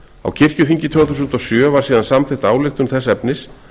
á kirkjuþingi tvö þúsund og sjö var síðan samþykkt ályktun þess efnis